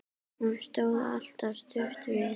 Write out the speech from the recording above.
Hún stóð alltaf stutt við.